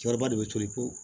Cɛkɔrɔba de bɛ toli po